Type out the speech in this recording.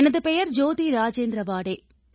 எனது பெயர் ஜோதி ராஜேந்திர வாடே